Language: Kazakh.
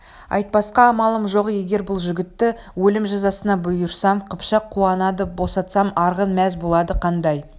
айтпасқа амалым жоқ егер бұл жігітті өлім жазасына бұйырсам қыпшақ қуанады босатсам арғын мәз болады қандай